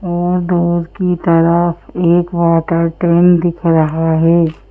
और डोर की तरफ एक वाटर टैंक दिख रहा है।